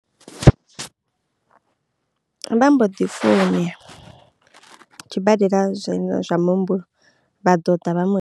Vha mbo ḓi tshibadela zwa zwa muhumbulo vha ḓo ḓa vha mu.